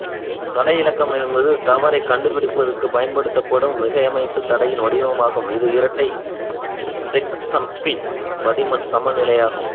தடை இலக்கம் என்பது தவறை கண்டுபிடிப்பதற்காகப் பயன்படுத்தப்படும் மிகைமைத் தடையின் வடிவமாகும் இது இரட்டை செக்சம்மின் பதின்ம சமநிலையாகும்